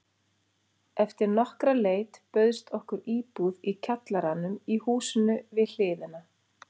Eftir nokkra leit bauðst okkur íbúð í kjallaranum í húsinu við hliðina.